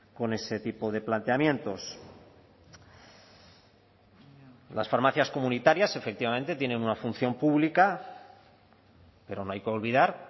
con ese tipo de planteamientos las farmacias comunitarias efectivamente tienen una función pública pero no hay que olvidar